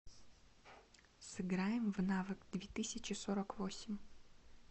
сыграем в навык две тысячи сорок восемь